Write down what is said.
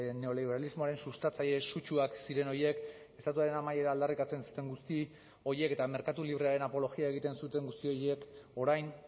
neoliberalismoaren sustatzaile sutsuak ziren horiek estatuaren amaiera aldarrikatzen zuten guzti horiek eta merkatu librearen apologia egiten zuten guzti horiek orain